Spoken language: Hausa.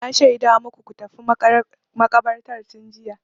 Na shaida maku ku tafi makabartar tun jiya.